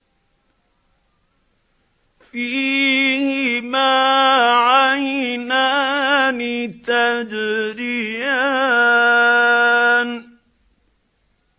فِيهِمَا عَيْنَانِ تَجْرِيَانِ